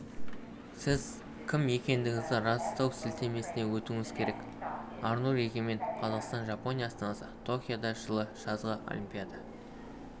сіз кім екендігіңізді растау сілтемесіне өтуіңіз керек арнұр егемен қазақстан жапония астанасы токиода жылы жазғы олимпиада